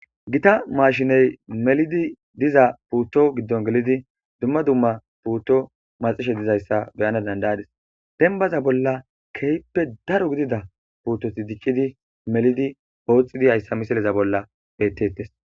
gita mashiney melidi diza puutto giddon gelidi dumma dumma puutto maxishe dizayssa beyana dandayadis dembaza bolla kehippe daro gidida puuttoti diccidi melidi ooxidi hayssa misileza bolla bettettes